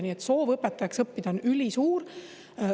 Nii et soov õpetajaks õppida on ülisuur.